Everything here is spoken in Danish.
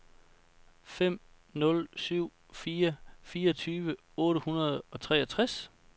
fem nul syv fire fireogtyve otte hundrede og treogtres